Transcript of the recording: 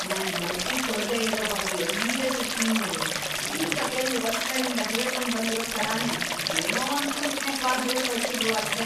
ನಂಗ್‌ ಬಡ್ತಿ ಕೊಡ್ದೇ ಇರೋ ಬಗ್ಗೆ ಲೀಡರ್ಷಿಪ್‌ ಟೀಮ್ನೋರು ಈಗ ಕೆಲ್ವ್‌ ವರ್ಷಗಳಿಂದ ಹೇಳ್ಕೊಂಡ್ ಬಂದಿರೋ ಥರನೇ ಏನೋ ಒಂದ್‌ ಕುಂಟ್‌ನೆಪ ಹೇಳ್‌ಕಳ್ಸುದ್ರು ಅಷ್ಟೇ.